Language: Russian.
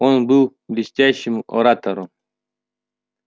он был блестящим оратором